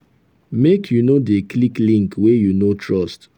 make you no dey click link wey you no trust.